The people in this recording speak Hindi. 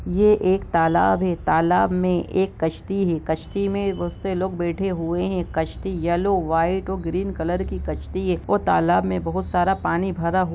यह एक तालाब है तालब में एक कश्ती है कश्ती में बहुत से लोग बैठे है कश्ती येल्लो व्हाइट और ग्रेन कलर की कश्ती है और तालब में बहुत सारा पानी भरा हुआ--